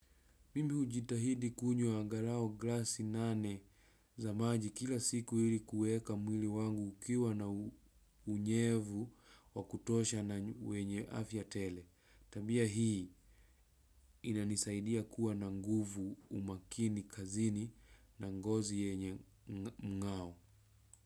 Mimi ujitahidi kunyo angaralau glassi nane za maji kila siku hili kueka mwili wangu ukiwa na unyevu wakutosha na wenye afya tele. Tabia hii inanisaidia kuwa na nguvu umakini kazini na ngozi yenye mngao.